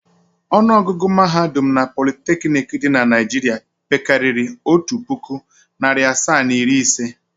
Ọnụọgụgụ mahadum na politeknik dị na Naịjirịa pekarịrị otu puku, narị asaa na iri ise.